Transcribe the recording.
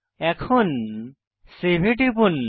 এখন সেভ এ টিপুন